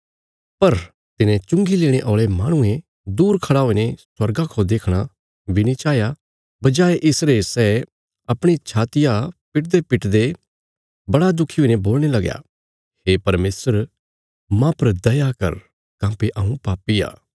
पर तिने चुंगी लेणे औल़े माहणुये दूर खड़ा हुईने स्वर्गा खौ देखणा बी नीं चाहया बजाय इसरे सै अपणी छात्तिया पिटदेपिटदे बड़ा दुखी हुईने बोलणे लगया हे परमेशर माह पर दया कर काँह्भई हऊँ पापी आ